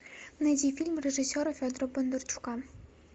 найди фильм режиссера федора бондарчука